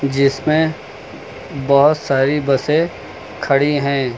जिसमें बहोत सारी बसें खड़ी हैं।